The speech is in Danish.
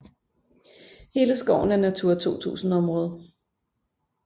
Hele skoven er Natura 2000 område